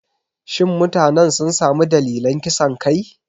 Shin mutanen sun sami dalilan kisan kai?